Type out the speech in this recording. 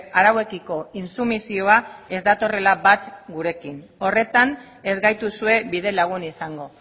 arauekiko intsumisioa ez datorrela bat gurekin horretan ez gaituzue bidelagun izango